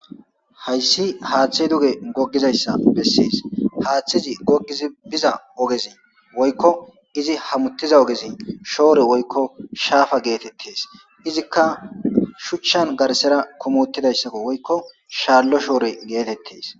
Hays haththey duge gizaysa beses. Hathiz gogid biza ogez woyko hamutiza ogez shore woyko shapa getetes. Izika shuchan garisera kum utidaysako woykko shalo shore getetes.